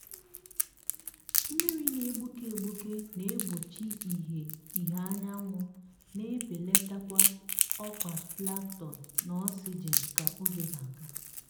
mmiri na-egbuke egbuke na-egbochi ìhè ìhè anyanwụ na-ebelata ọkwa plankton na oxygen ka oge na-aga.